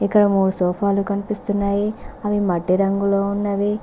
ఇక్కడ మూడు సోఫాలు కనిపిస్తున్నాయి అవి మట్టి రంగులో ఉన్నవి.